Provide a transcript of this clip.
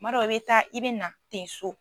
Kuma dɔ i bɛ taa i bɛ na ten so.